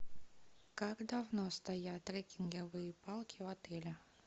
как давно стоят треккинговые палки в отеле